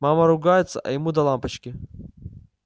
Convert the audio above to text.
мама ругается а ему до лампочки